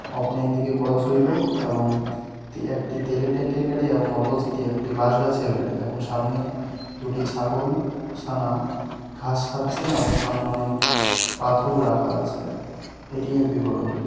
করা ছিল এবং একটি তেলের ট্যাংকের গাড়ি এবং অপজিট একটি বাঁশ গাছের গাড়ি এবং সামনে দুটি ছাগল ছানা ঘাস খাচ্ছেন এবং সামনে অনেক পাথর রাখা আছে এটি এর বিবরণ।